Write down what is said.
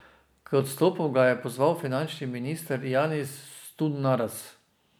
K odstopu ga je pozval finančni minister Janis Sturnaras.